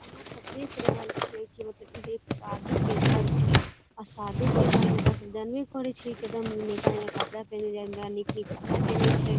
आहां सब देख रहल छीये की इ जे मतलब एक शादी के घर छै आ शादी के घर में ते आहां सब जानवे करे छीये एकदम नयका नयका कपड़ा पिनहल जाय ले नीक नीक कपड़ा पिन्हे छै।